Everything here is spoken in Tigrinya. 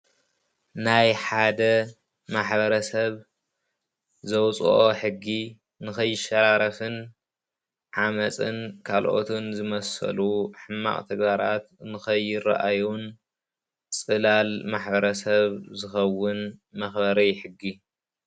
ናይ ሓደ ማሕበረሰብ ዘውፀኦ ሕጊ ንከይሸራረፍን ዓመፅን ካልኦትን ዝመሰሉ ሕማቅ ተግባራት ንከይራ ርእዩን ፅላል ማሕበረሰብ ዝከውን መክበሪ ሕጊ።